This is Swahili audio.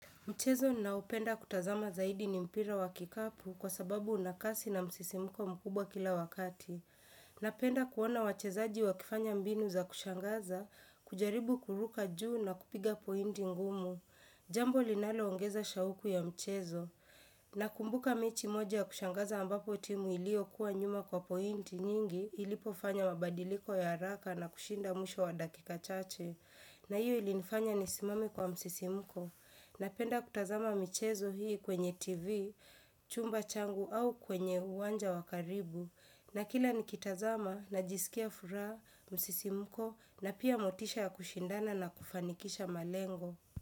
Mchezo ninaoupenda kutazama zaidi nimpira wa kikapu kwa sababu unakasi na msisimuko mkubwa kila wakati. Na penda kuona wachezaji wa kifanya mbinu za kushangaza, kujaribu kuruka juu na kupiga pointi ngumu. Jambo linalo ongeza shauku ya mchezo. Na kumbuka mechi moja ya kushangaza ambapo timu iliyo kuwa nyuma kwa pointi nyingi ilipofanya mabadiliko ya haraka na kushinda mwisho wa dakika chache. Na iyo ilinifanya nisimame kwa msisimuko. Napenda kutazama michezo hii kwenye tv, chumba changu au kwenye uwanja wakaribu. Na kila nikitazama na jisikia furaha, msisimuko na pia motisha ya kushindana na kufanikisha malengo.